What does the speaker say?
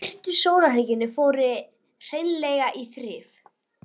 Nokkrar hugmyndir aðrar frá næstu árum